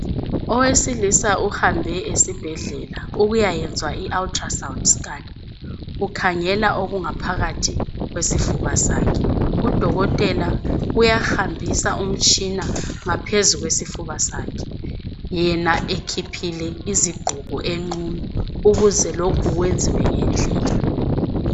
Owesilisa uhambe esibhedlela ukuyayenzwa i-"Ultra- Sound-Scan" kukhangela okungaphakathi kwesifuba sakhe. Udokotela uyahambisa umtshina ngaphezu kwesifuba sakhe, yena ekhiphile izigqoko enqunu, ukuze lokhu kwenziwe ngendlela.